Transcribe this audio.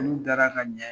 N'u dara ka ɲa